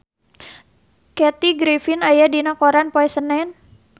Kathy Griffin aya dina koran poe Senen